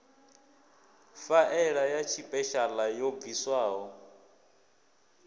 faela ya tshipeshala yo bviswaho